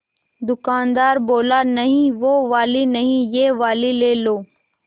दुकानदार बोला नहीं वो वाली नहीं ये वाली ले लो